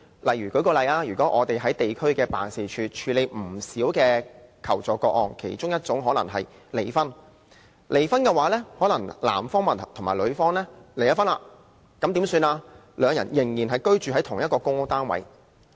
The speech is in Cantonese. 例如，我們在地區辦事處曾處理過不少求助個案，其中包括離婚個案：男方和女方已離婚，但兩人仍然居住在同一個公屋單位。